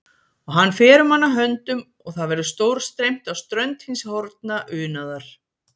Og hann fer um hana höndum og það verður stórstreymt á strönd hins horfna unaðar.